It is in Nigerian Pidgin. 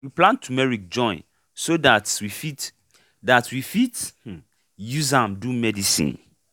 we plant tumeric join so that we fit that we fit use am do medicine